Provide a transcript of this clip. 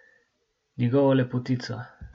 Njegovo lepotico.